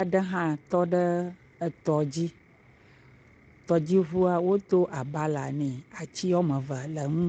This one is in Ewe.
aɖe hã tɔ ɖe atɔ dzi. Tɔdziŋua wodo agbala ne. Ati woa me eve le enu.